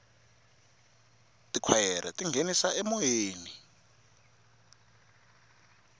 tikhwayere ti nghenisa emoyeni